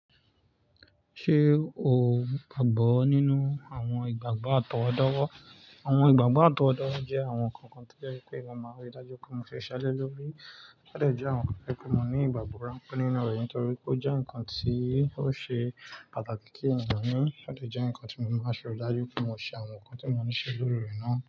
Ṣé o gbàgbọ́ nínú àwọn ìgbàgbọ́ àtọwọ́dowo? Àwọn ìgbàgbọ́ àtọwọ́dowo jẹ́ àwọn nǹkan kan tí o je wipe mi máa ń rí dájú pé mo ṣise lẹ lórí. Ó dàjẹ́ àwọn nǹkan pé mo ní ìgbàgbọ́ ránpẹ́ nínú rẹ̀ nítorí pé ó jẹ́ ǹkan tí ó ṣe pàtàkì kí ènìyàn ní. Ó dàjẹ́ ǹkan tí mo máa ń rí dájú pé mo ṣe àwọn nǹkan tí mo ní ṣe lórí rẹ̀ náà.